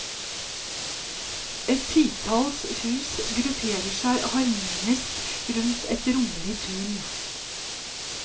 Et titalls hus grupperer seg harmonisk rundt et rommelig tun.